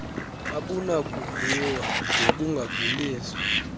abunakuviwa d bungaveliswa